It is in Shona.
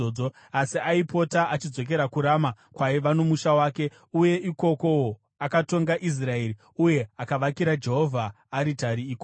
Asi aipota achidzokera kuRama, kwaiva nomusha wake, uye ikokowo akatonga Israeri. Uye akavakira Jehovha aritari ikoko.